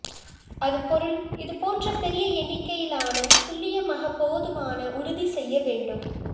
அது பொருள் இதுபோன்ற பெரிய எண்ணிக்கையிலான துல்லியமாக போதுமான உறுதி செய்ய வேண்டும்